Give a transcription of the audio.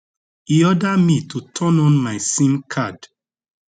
e order me to turn on my sim card